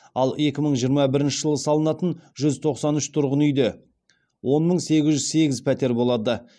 ал екі мың жиырма бірінші жылы салынатын жүз тоқсан үш тұрғын үйде он мың сегіз жүз сегіз пәтер болады